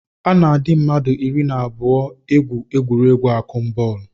A na-adị mmadụ iri na abụọ egwu egwuregwu akụmbọọlụ